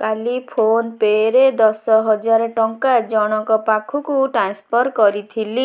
କାଲି PhonePe ରେ ଦଶ ହଜାର ଟଙ୍କା ଜଣକ ପାଖକୁ ଟ୍ରାନ୍ସଫର୍ କରିଥିଲି